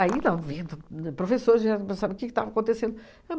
professores já pensavam o que que estava acontecendo.